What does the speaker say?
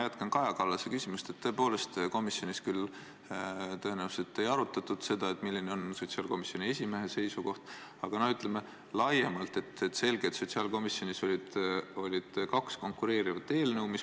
Aitäh!